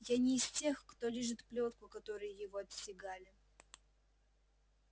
я не из тех кто лижет плётку которой его отстегали